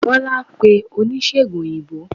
bola pe onisegùn oyinbo